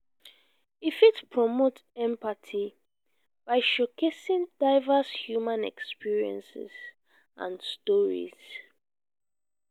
e fit promote empathy by showcasing diverse human experiences and stories.